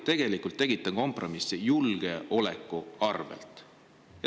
Te ju tegite kompromissi julgeoleku arvel.